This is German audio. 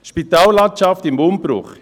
«Spitallandschaft im Umbruch –